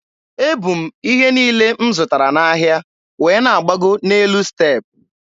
E bu m ihe niile m zụtara n'ahịa wee na-agbago n'elu step.